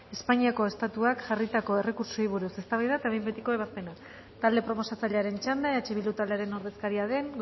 espainiako estatuak jarritako errekurtsoei buruz eztabaida eta behin betiko ebazpena talde proposatzailearen txanda eh bildu taldearen ordezkaria den